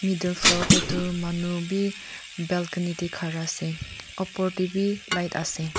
etu floor tae toh manu bi balcony tae khara ase opor tae vi light ase.